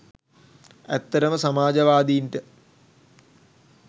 ඇත්තටම සමාජවාදීන්ට